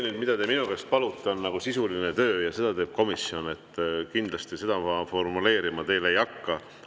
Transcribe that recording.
See, mida te minu käest palute, on sisuline töö ja seda teeb komisjon, seda ma teile kindlasti formuleerima ei hakka.